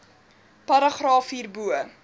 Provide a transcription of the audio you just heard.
paragraaf hierbo